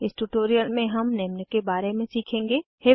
इस ट्यूटोरियल में हम निम्न के बारे में सीखेंगे 1